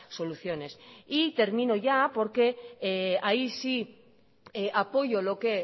soluciones y termino ya porque ahí sí apoyo lo que